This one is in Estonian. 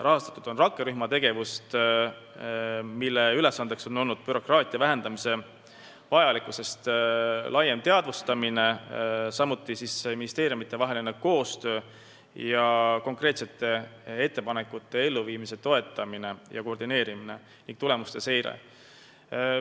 Rahastatud on rakkerühma tegevust, mille eesmärk on olnud bürokraatia vähendamise vajalikkuse laiem teadvustamine, samuti asjakohane ministeeriumidevaheline koostöö, konkreetsete ettepanekute elluviimise toetamine ja koordineerimine, ka tulemuste seire.